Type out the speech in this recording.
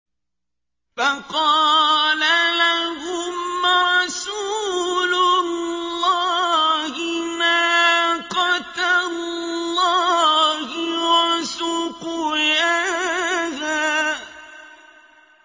فَقَالَ لَهُمْ رَسُولُ اللَّهِ نَاقَةَ اللَّهِ وَسُقْيَاهَا